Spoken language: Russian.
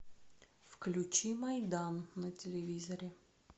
включи майдан на телевизоре